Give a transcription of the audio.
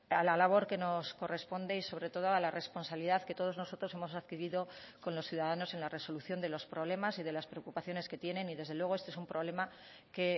a la labor que nos corresponde y sobre todo a la responsabilidad que todos nosotros hemos adquirido con los ciudadanos en la resolución de los problemas y de las preocupaciones que tienen y desde luego este es un problema que